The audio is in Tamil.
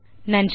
நன்றி